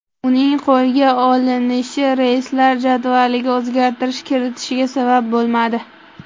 Uning qo‘lga olinishi reyslar jadvaliga o‘zgartirish kiritilishiga sabab bo‘lmadi.